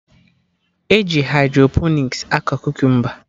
E ji hydroponiks akọ kukumba